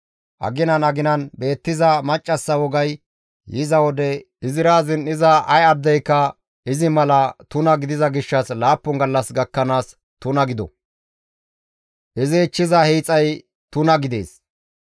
Aginan aginan beettiza maccassa wogay yiza wode izira zin7iza ay addeyka izi mala tuna gidiza gishshas laappun gallas gakkanaas tuna gido; izi ichchiza hiixay tuna gidees.